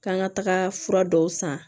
K'an ka taga fura dɔw san